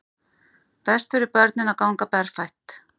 Best fyrir börnin að ganga berfætt